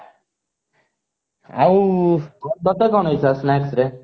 ଆଉ ତତେ କଣ ଇଛା snacks ରେ?